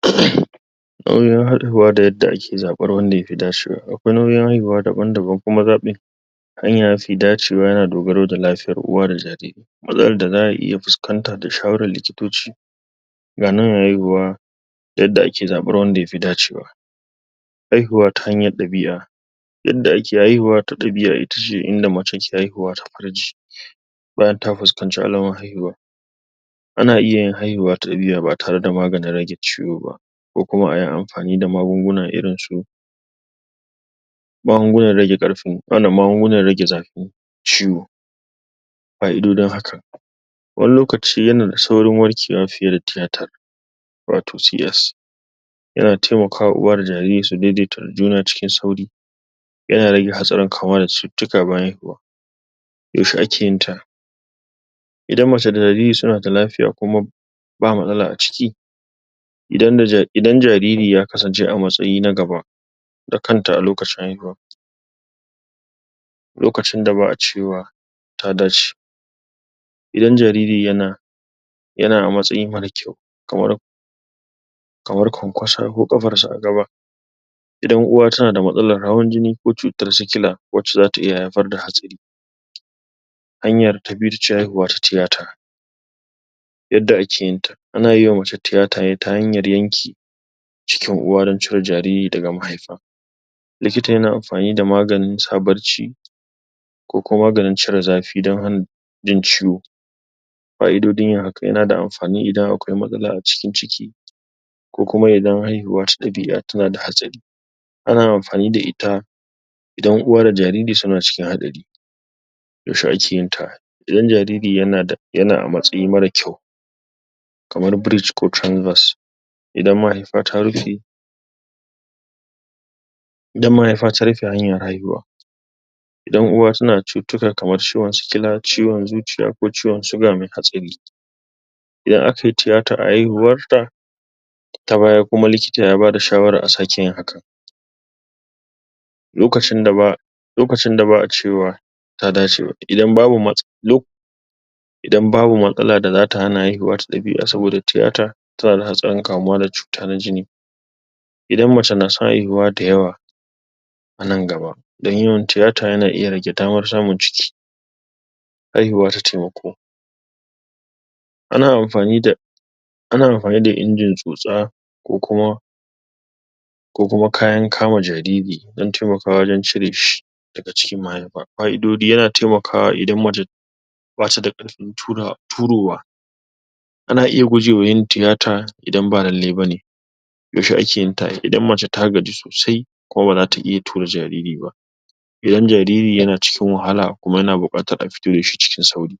?? Alamomin haihuwa da kuma yadda ake zaɓen wanda yafi dacewa. Aƙwai nau'in haihuwa daban daban kuma zaɓin,? hanya mafi dacewa yana dogaro da lafiyar uwa da jariri. .Matsalar da za'a iya fuskanta da shawarar likitoci,? na nuna haihuwa daf yadda da yadda ake zaɓen wanda yafi dacewa.? Haihuwa ta hanyar ɗabi'a.? Yadda ake haihuwa ta dabi'a itace inda mace take haihuwa ta farji.? Bayan ta fuskanci alamar haihuwa.? Ana iyayin haihuwa ta ɗabi'a ba tare da amfani da maganin rage ciwo ba. Ko kuma ayi amfani da magunguna irinsu,? magungunan rage zafin ciwo.? Fa’idojin haka.? Wani lokacin yanada saurin warke wa fiye da theather,? wato C S.? Yana taimaka wa uwa da jariri su daidaita da juna cikin sauri.? Yana rage hatsarin kamuwa da cututtuka bayan haihuwa.? Yanshe akeyinta?? Idan mace da jariri sunada lafiya, Idan mace da jariri sunada lafiya,? kuma ba matsala a ciki.? Idan jariri ya kasance a matsayi na gaba,? da kanta a lokacin haihuwa.? Lukacin da ba’a cewa ta dace.? Idan jariri yana,? idan jariri yana a matsayi mara ƙyau. Kamar,? Kamar kwankwaso ko kafarsa a gaba.? Idan uwa tanada matsalar hawan jini ko cutar sikila,, wacca zata iya haifar da hatsari.? Hanya ya ta biyu itace haihuta ta theather.? Yadda ake yinta. Anayima mace theather ne ta hanyar yanke,? cikin uwa dan cire jariri daga mahaifa.? Likita yana amfani da maganin sa barci,? ko kuma maganin cire zafi dan hana jin ciwo. Fa’idojin yin hakan. Yanada amfani idan akwai matsala a cikin ciki,?, ko kuma idan haihuwa ta ɗabi’a tanada hatsari. Ana amfani da ita,? ana amfani da ita idan uwa da jariri suna cikin hatsari.? Yausha akeyinta? Idan Jariri yana a matsayi mara ƙyau,? kamar breach ko trensus.? Idan mahaifa ta rufe,? Idan mahaifa ta rufe hanyar haihuwa.? Idan uwa tanada cututtuka kamar ciwon sikila, ko ciwon zuciya, ko ciwon sugar mai hatsari.? Idan akayi theather a haihuwarta,? ta baya kuma likita ya bada shawarar a sake yin haka.? Lokacin da ba,? Lokacin da ba’a cewa ta dace.?? Idan babu matsala da zata hana haihuta ta ɗabi’a, saboda theather tanada hatsarin kawuwa da cuta na jini.? Idan mace nasan haihuta da yawa,? anan gaba, dan yawan theather yana iya rage damar samun ciki.? Haihuwa ta taimako.? Ana amfani da,? Ana amfani da injin tsota, ko kuwa,? ko kuwa kayan kama jariri dun taimaka wajan cireshi daga cikin mahaifa. Fa’idoji. Yana taimakawa idan mace badata karfin turowa.? Ana iya gujewa yin theather idan ba lallai bane.? Yausha akeyinta? Idan mace ta gaji sosai, kuma bazata iya tura jariri ba.? Idan jariri yana cikin wahala kuma yanaso a fito dashi cikin sauƙi.